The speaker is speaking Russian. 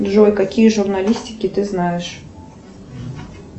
джой какие журналистики ты знаешь